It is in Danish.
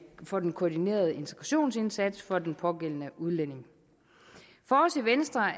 for den koordinerede integrationsindsats for den pågældende udlænding for os i venstre